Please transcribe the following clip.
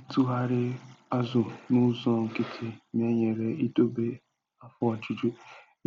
itụgharị azụ n'ụzọ nkịtị na-enyere idobe afọ ojuju